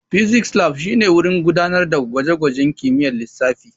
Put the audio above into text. Physics Lab shine wurin gudanar da gwaje-gwajen kimiyyar lissafi.